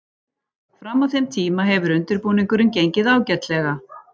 Fram að þeim tíma hefur undirbúningurinn gengið ágætlega.